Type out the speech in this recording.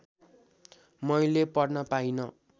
मैले पढ्न पाइन